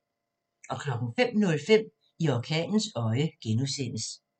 05:05: I orkanens øje (G)